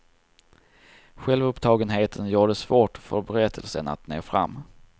Självupptagenheten gör det svårt för berättelsen att nå fram.